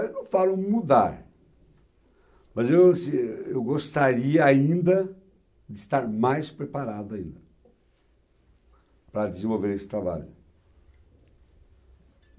Eu não falo mudar, mas eu assim, eu eu gostaria ainda de estar mais preparado ainda para desenvolver esse trabalho.